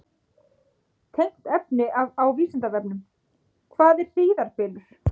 Tengt efni á Vísindavefnum: Hvað er hríðarbylur?